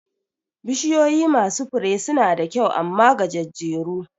Bishiyoyi masu Fure suna da kyau amma gajejjeru ne